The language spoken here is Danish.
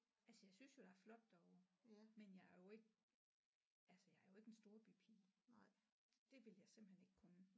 Altså jeg synes jo der er flot derovre men jeg er jo ikke altså jeg er jo ikke en storbypige det vil jeg simpelthen ikke kunne